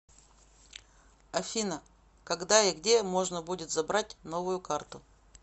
афина когда и где можно будет забрать новую карту